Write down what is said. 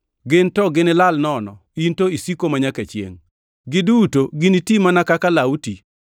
Gin to ginilal nono, In to isiko manyaka chiengʼ, giduto giniti mana kaka law ti.